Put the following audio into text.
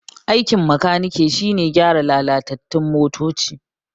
Aikin makaniki shine gyaran lalatattun motoci